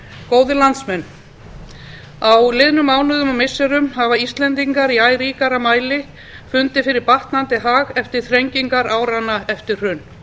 góðir landsmenn á liðnum mánuðum og missirum hafa íslendingar í æ ríkari mæli fundið fyrir batnandi hag eftir þrengingar áranna eftir hrun